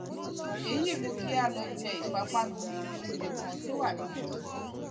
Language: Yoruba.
èyí mú kí a lọ jẹ ìpápánu ní iléoúnjẹ kan tó wà nítòsí